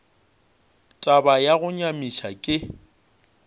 taba ya go nyamiša ke